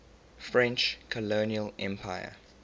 french colonial empire